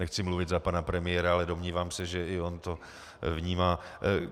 Nechci mluvit za pana premiéra, ale domnívám se, že i on to vnímá.